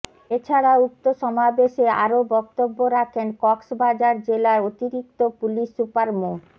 এ ছাড়া উক্ত সমাবেশে আরো বক্তব্য রাখেন কক্সবাজার জেলার অতিরিক্ত পুলিশ সুপার মো